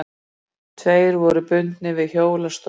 Tveir voru bundnir við hjólastól.